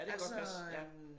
Ja det kan godt passe ja